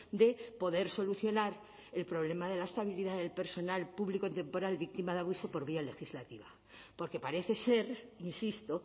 de poder solucionar el problema de la estabilidad del personal público temporal víctima de abuso por vía legislativa porque parece ser insisto